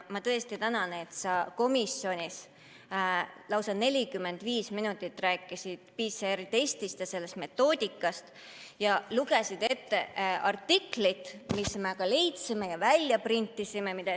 Ma tõesti tänan, et sa komisjonis lausa 45 minutit rääkisid PCR-testist ja sellest metoodikast ja lugesid ette artikli, mille me ka leidsime ja välja printisime.